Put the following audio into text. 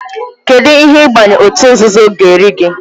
Kedụ ihe ịbanye òtù nzuzo ga-eri gị?